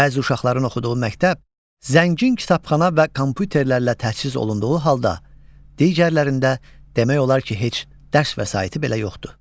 Bəzi uşaqların oxuduğu məktəb zəngin kitabxana və kompüterlərlə təchiz olunduğu halda, digərlərində demək olar ki, heç dərs vəsaiti belə yoxdur.